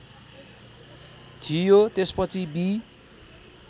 थियो त्यसपछि बि